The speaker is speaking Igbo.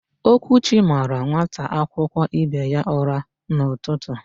Okwuchi mara nwata akwụkwọ ibe ya ụra n'ụtụtụ.